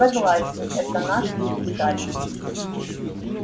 согласен это наша специальность